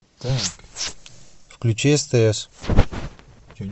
включи стс